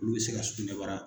Olu bɛ se ka sugunɛ bara.